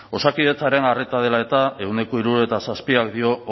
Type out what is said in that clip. osakidetzaren arreta dela eta ehuneko hirurogeita zazpik dio